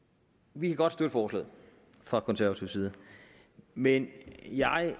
vi kan godt støtte forslaget fra konservativ side men jeg